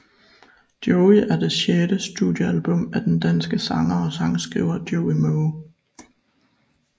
Joey er et det sjette studiealbum af den danske sanger og sangskriver Joey Moe